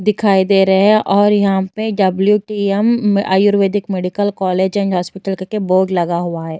दिखाई दे रहे हैं और यहाँ पे WTM. Ayurvedic medical college and hospital करके बोर्ड लगा हुआ है।